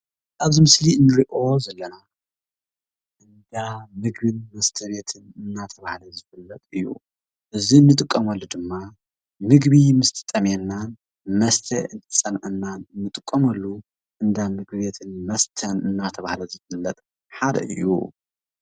ኣብዚ ምስሊ እንርእዮ ዘለና እንዳ ምግቢን መስተ ቤትን እናተባህለ ዝፍለጥ እዩ። እዙይ ንጥቀመሉ ድማ ምግቢ ምስ እትጠምየናን መስተ እንትፀምአናን እንጥቀመሉ እንዳ ምግብን መስተን እንዳተባህለ ዝፍለጥ ሓደ እዩ ።